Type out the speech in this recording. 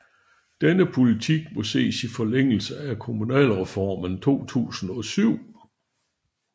Denne politik må ses i forlængelse af kommunalreformen 2007